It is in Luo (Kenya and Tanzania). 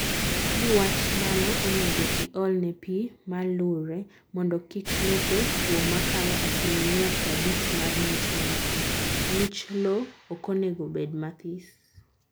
Niwach mano, onego iolne pii malure mondo kik lope two makalo asilimia prabich mar ngich mantie(ngich lowo okonego bed mathis)